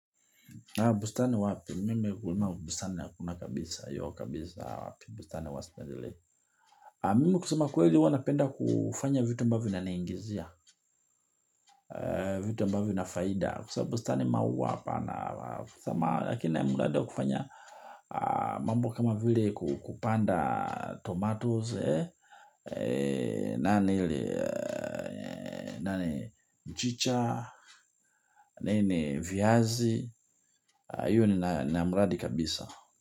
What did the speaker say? Bustani wapi, mime kulima bustani ya kuna kabisa, yo kabisa wapi, bustani wa sipendelei. Mime kusema kweli huwa napenda kufanya vitu ambavyo vinaniingizia, vitu ambavyo na faida. Kusema bustani maua hapana, kusema, lakini na mradi wa kufanya mambo kama vile kupanda tomatoes, nani, nani, mchicha, nini, viazi, hiyo nina mradi kabisa.